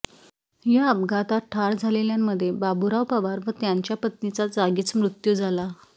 या अपघातात ठार झालेल्यांमध्ये बाबुराव पावरा व त्यांच्या पत्नीचा जागीच मृत्यू झाला आहे